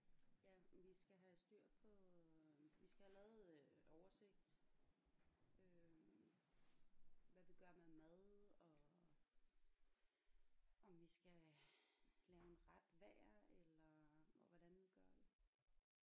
Ja vi skal have styr på øh vi skal have lavet øh oversigt øh hvad vi gør med mad og om vi skal lave en ret hver eller og hvordan gør vi